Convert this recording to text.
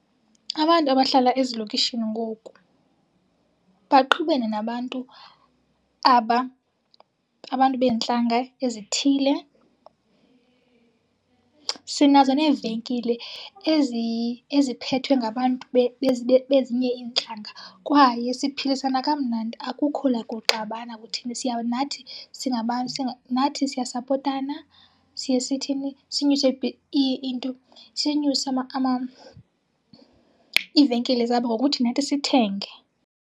Abantu abahlala ezilokishini ngoku baxubene nabantu abantu beentlanga ezithile. Sinazo neevenkile eziphethwe ngabantu bezinye iintlanga kwaye siphilisana kamnandi, akukho nakuxabana kutheni. Nathi singabantu, nathi siyasapotana siye sithini, sinyuse into sinyuse iivenkile zabo ngokuthi nathi sithenge.